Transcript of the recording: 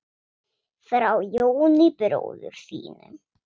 Frá Jóni bróður þínum.